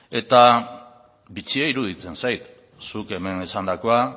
eta bitxia iruditzen zait zuk hemen esandakoa